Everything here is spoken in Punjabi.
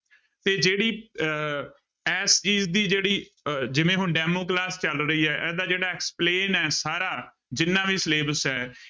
ਤੇ ਜਿਹੜੀ ਅਹ ਇਸ ਚੀਜ਼ ਦੀ ਜਿਹੜੀ ਅਹ ਜਿਵੇਂ ਹੁਣ demo class ਚੱਲ ਰਹੀ ਹੈ ਇਹਦਾ ਜਿਹੜਾ explain ਹੈ ਸਾਰਾ ਜਿੰਨਾ ਵੀ Syllabus ਹੈ